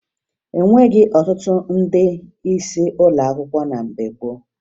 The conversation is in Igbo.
E nweghi ọtụtụ ndị isi ụlọ akwụkwọ na mgbe gboo